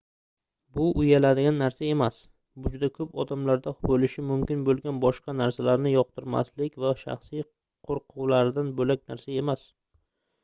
bu uyaladigan narsa emas bu juda koʻp odamlarda boʻlishi mumkin boʻlgan boshqa narsalarni yoqtirmaslik va shaxsiy qoʻrquvlaridan boʻlak narsa emas